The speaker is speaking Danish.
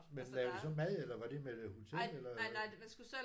Men lavede I så mad eller var det med hotel eller